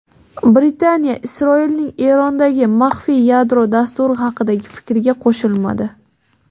Britaniya Isroilning Erondagi maxfiy yadro dasturi haqidagi fikriga qo‘shilmadi.